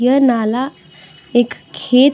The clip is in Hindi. यह नाला एक खेत --